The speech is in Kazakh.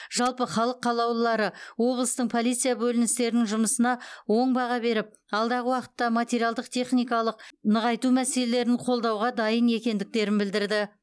жалпы халық қалаулылары облыстың полиция бөліністерінің жұмысына оң баға беріп алдағы уақытта материалдық техникалық нығайту мәселелерін қолдауға дайын екендіктерін білдірді